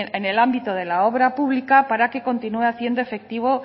en el ámbito de la obra pública para que continúe haciendo efectivo